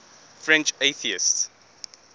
french atheists